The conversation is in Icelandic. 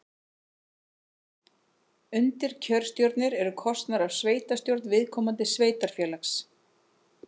Undirkjörstjórnir eru kosnar af sveitastjórn viðkomandi sveitarfélags.